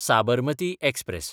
Sabarmati express